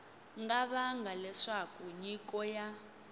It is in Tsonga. nga vanga leswaku nyiko ya